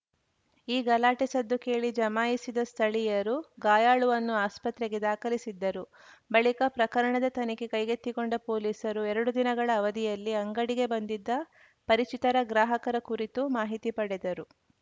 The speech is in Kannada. ಈ ಗಲಾಟೆ ಸದ್ದು ಕೇಳಿ ಜಮಾಯಿಸಿದ ಸ್ಥಳೀಯರು ಗಾಯಾಳುವನ್ನು ಆಸ್ಪತ್ರೆಗೆ ದಾಖಲಿಸಿದ್ದರು ಬಳಿಕ ಪ್ರಕರಣದ ತನಿಖೆ ಕೈಗೆತ್ತಿಕೊಂಡ ಪೊಲೀಸರು ಎರಡು ದಿನಗಳ ಅವಧಿಯಲ್ಲಿ ಅಂಗಡಿಗೆ ಬಂದಿದ್ದ ಪರಿಚಿತರ ಗ್ರಾಹಕರ ಕುರಿತು ಮಾಹಿತಿ ಪಡೆದರು